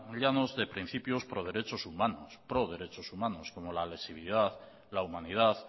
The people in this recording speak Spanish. llanos de principios pro derechos humanos pro derecho humanos como la lesividad la humanidad